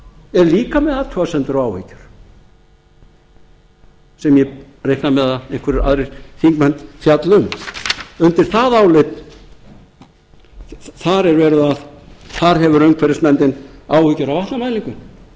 er líka með athugasemdir og áhyggjur sem ég reikna með að einhverjir aðrir þingmenn fjalli um þar hefur umhverfisnefnd áhyggjur af vatnamælingum